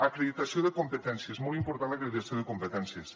acreditació de competències molt important l’acreditació de competències